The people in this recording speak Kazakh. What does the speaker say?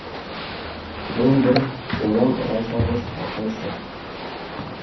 мен бір озан ұран салғыш айқайшы